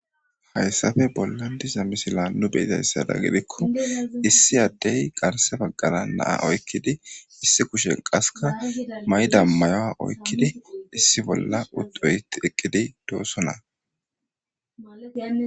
Hayssafe bollan diza misila nu beyizayssada gidikko issi addey qarse baggara naa oykkidi issi kushen qaska mayda mayoa oykkidi issi bolla ud oyti eqqidi doosona.